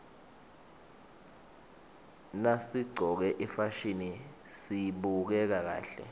nasiqcoke ifasihni sibukeka kahle